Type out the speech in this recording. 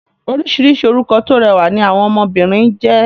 Orísìírísìí orúkọ tó rẹwà ni àwọn ọmọ obìnrin ń jẹ́